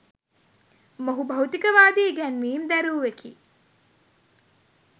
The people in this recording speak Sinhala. මොහු භෞතිකවාදී ඉගැන්වීම් දැරූවෙකි.